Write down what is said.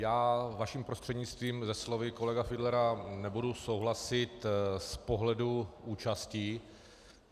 Já vaším prostřednictvím se slovy kolegy Fiedlera nebudu souhlasit z pohledu účasti.